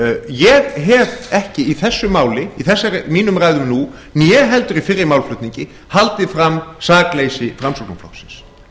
ég hef ekki í þessu máli í mínum ræðum nú né heldur í fyrri málflutningi haldið fram sakleysi framsóknarflokksins